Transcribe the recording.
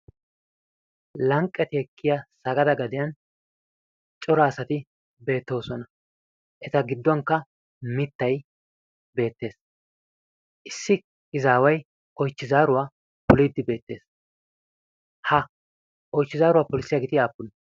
lanqqet ekkiya sagada gadiyaan cora asati beettoosona. eta giddonkka mittay beettees. issi izaway oychchi zaaruwa pollide beettees. ha oychchi zaaruwaa polissiyaageeti aappune?